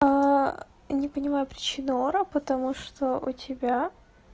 не понимаю причину ора потому что у тебя